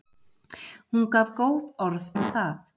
Hún gaf góð orð um það.